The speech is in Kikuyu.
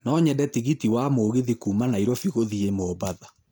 No nyende tigiti wa mũgithi kuuma nairobi gũthiĩ mombatha